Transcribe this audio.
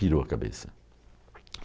Pirou a cabeça.